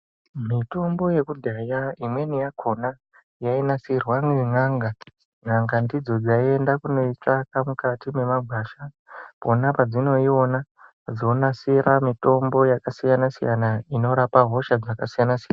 Mutombo yekudhaya imweni yakona yainasirwa nena'nga. N'anga ndidzo dzaienda kunoitsvaka mukati mwemagwasha, pona padzinoiona, dzonasira mitombo yakasiyanasiyana inorapa hosha dzakasiyana-siyana.